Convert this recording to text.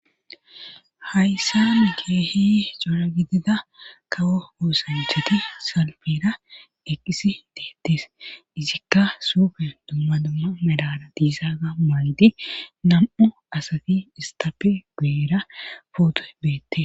hayssare keehi cora gidida kawo oosanchati salpera eqqisi deettes izikka sufe dumma dumma medada diisaga maydi nam'u asati istape guera pootoy beette